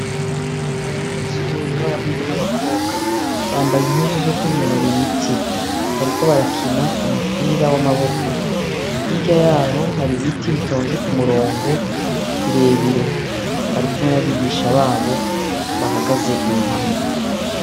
Abanyeshuri babahungu n' abakobwa, bambaye impuzu zokwinonora imitsi, bariko barakina umupira w' amaboko, hirya yaho hari ibiti bitonze kumurongo birebire, barikumwe n' abigisha babo bahagaze iruhande.